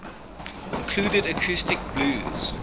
included acoustic blues